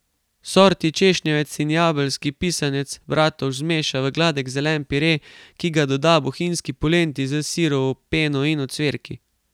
Sorti češnjevec in jabelski pisanec Bratovž zmeša v gladek zelen pire, ki ga doda bohinjski polenti s sirovo peno in ocvirki.